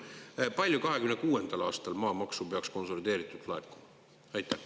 Palju 2026. aastal maamaksu peaks konsolideeritult laekuma?